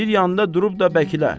Bir yanda durub da bəkilə.